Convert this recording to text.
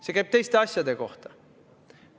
See käib teiste asjade kohta.